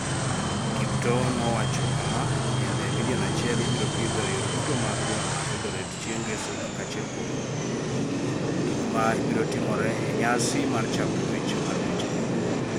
Kiptoo nowacho kama: “Yiende milion achiel ibiro pidho e yore duto mag boma mar Eldoret chieng' ngeso kaka achiel kuom gik ma biro timore e nyasi mar chako ng’wech mar ng’wechno.”